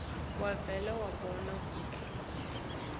wavele wabona kutsi